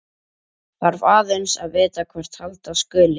Þarf aðeins að vita hvert halda skuli.